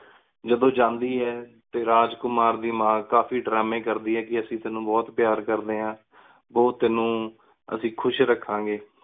ਜਾਦੁਨ ਜਾਂਦੀ ਆਯ ਟੀ ਰਾਜ ਕੁਮਾਰ ਕੀ ਮਾਨ ਕਾਫੀ ਦੇਰਾਮ੍ਯਨ ਕਰਦੀ ਆਯ ਕੀ ਅਸੀਂ ਟੀਨੂ ਬੁਹਤ ਪ੍ਯਾਰ ਕਰ ਡੀਨ ਆਂ ਬੁਹਤ ਅਸੁ ਟੀਨੂ ਖੁਸ਼ ਰਖਣ ਗੀ